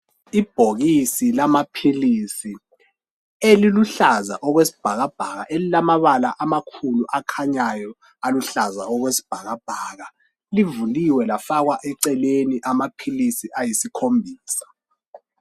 Ibhokisi lamaphilisi eliluhlaza okwesibhakabhaka elilamabala amakhulu akhanyayo aluhlaza okwesibhakabhaka, livuliwe lafakwa eceleni amaphilisi ayisikhombisa.